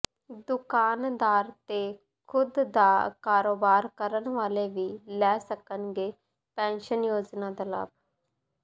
ਦੁਕਾਨਦਾਰ ਤੇ ਖੁਦ ਦਾ ਕਾਰੋਬਾਰ ਕਰਨ ਵਾਲੇ ਵੀ ਲੈ ਸਕਣਗੇ ਪੈਨਸ਼ਨ ਯੋਜਨਾ ਦਾ ਲਾਭ